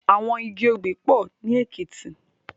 Awòn igi óbì pò ni Ekiti